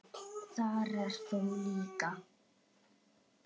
Þar ert þú líka.